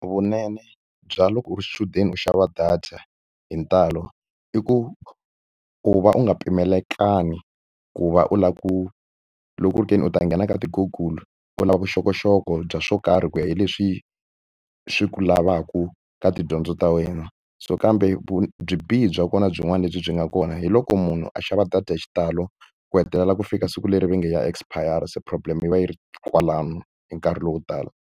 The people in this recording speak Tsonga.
Vunene bya loko u ri xichudeni u xava data hi ntalo, i ku u va u nga pimelekangi ku va u lava ku loko ku ri ke ni u ta nghena ka ti-Google u lava vuxokoxoko bya swo karhi ku ya hi leswi swi ku lavaka ka tidyondzo ta wena. So kambe byibihi bya kona byin'wana lebyi byi nga kona hi loko munhu a xava data hi xitalo ku hetelela ku fika siku leri va nge ya expire-ra, se problem yi va yi ri kwalano hi nkarhi lowo tala.